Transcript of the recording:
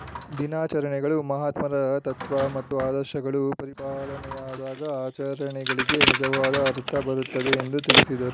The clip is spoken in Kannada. ದಿನಾಚರಣೆಗಳು ಮಹಾತ್ಮರ ತತ್ವ ಮತ್ತು ಆದರ್ಶಗಳು ಪರಿಪಾಲನೆಯಾದಾಗ ಆಚರಣೆಗಳಿಗೆ ನಿಜವಾದ ಅರ್ಥ ಬರುತ್ತದೆ ಎಂದು ತಿಳಿಸಿದರು